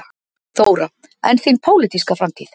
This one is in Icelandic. Þóra: En þín pólitíska framtíð?